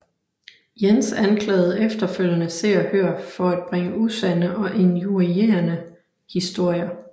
Jens anklagede efterfølgende Se og Hør for bringe usande og injurierende historier